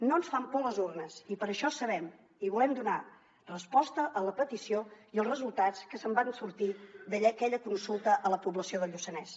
no ens fan por les urnes i per això sabem i volem donar resposta a la petició i els resultats que van sortir d’aquella consulta a la població del lluçanès